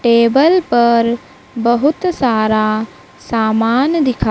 table पर बहुत सारा सामान दिखा--